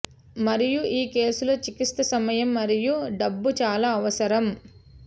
మరియు ఈ కేసులో చికిత్స సమయం మరియు డబ్బు చాలా అవసరం